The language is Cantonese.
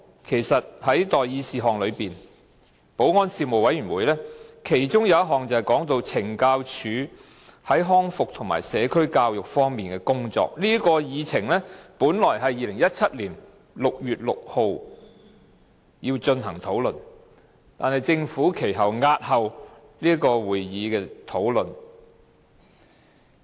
其實，保安事務委員會其中一項待議事項，是懲教署在康復和社區教育方面的工作，這項議程本來是在2017年6月6日進行討論，但政府押後這事項的討論。